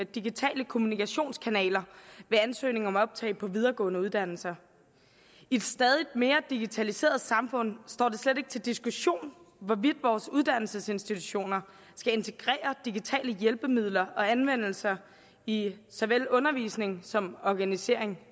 digitale kommunikationskanaler ved ansøgning om optag på videregående uddannelser i et stadig mere digitaliseret samfund står det slet ikke til diskussion hvorvidt vores uddannelsesinstitutioner skal integrere digitale hjælpemidler og anvendelser i såvel undervisning som organisation